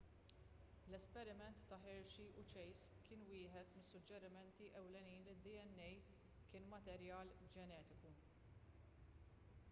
l-esperiment ta' hershey u chase kien wieħed mis-suġġerimenti ewlenin li d-dna kien materjal ġenetiku